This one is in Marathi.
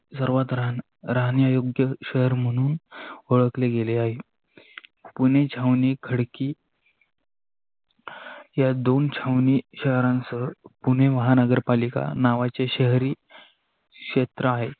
सर्वात रांग राहण्यायोग्य शहर म्हणून ओळखले गेले आहे. पूणे, छावणी, खडकी या दोन छावनी शहरानच पुणे महानगर पालिका नावाचे शहरी क्षेत्र आहे.